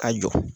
A jɔ